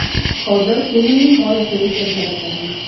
Hozir filmning g‘oyasini keltirib beraman.